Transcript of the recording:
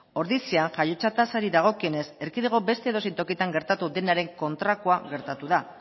ordizia jaiotza tasari dagokionez erkidego beste edozein tokitan gertatu denaren kontrakoa gertatu da